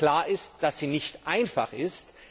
Klar ist, dass sie nicht einfach ist.